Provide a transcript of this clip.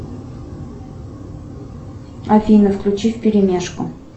афина включи вперемешку